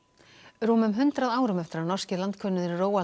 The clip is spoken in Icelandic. rúmum hundrað árum eftir að norski landkönnuðurinn